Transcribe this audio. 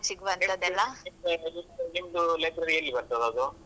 ನಿಮ್ದು library ಎಲ್ಲಿ ಬರ್ತದೆ ಅದು?